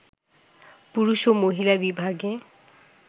পুরুষ ও মহিলা বিভাগে